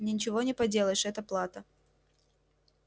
ничего не поделаешь это плата